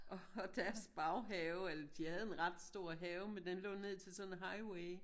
Og deres baghave eller de have en ret stor have men den lå ned til sådan en highway